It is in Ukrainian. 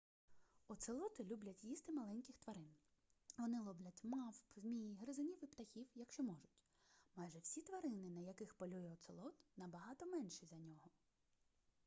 оцелоти люблять їсти маленьких тварин вони ловлять мавп змій гризунів і птахів якщо можуть майже всі тварини на яких полює оцелот набагато менші за нього